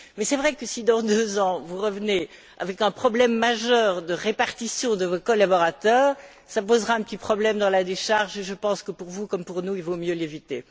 Mais il est vrai que si, dans deux ans, vous revenez avec un problème majeur de répartition de vos collaborateurs, cela posera un petit problème dans la décharge, et je pense que pour vous, comme pour nous, il vaut mieux l'éviter.